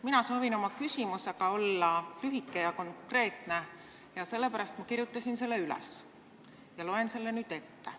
Mina soovin esitada lühikese ja konkreetse küsimuse, sellepärast ma kirjutasin selle üles ja loen selle nüüd ette.